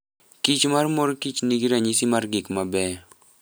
kich mar mor kich nigi ranyisi mar gik mabeyo .